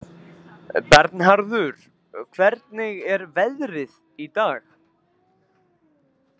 Bernharður, hvernig er veðrið í dag?